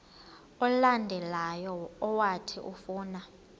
olandelayo owathi ufuna